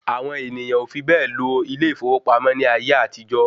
Àwọn ènìyàn ò fi bẹ́ẹ̀ lọ ilé ìfowópamọ́ ní ayé àtijó.